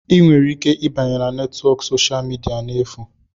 Ị nwere ike ịbanye na netwọk soshal midia n'efu.